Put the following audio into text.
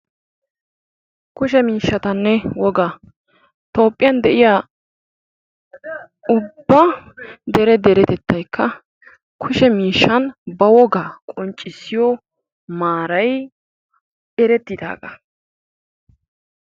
Kushe miishshatanne woga, toophiyan de'iyaa ubba dere deretettaykka kushe miishshan ba wogaa qoccissiyo maaray eretidaaga.